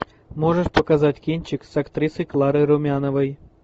можешь показать кинчик с актрисой кларой румяновой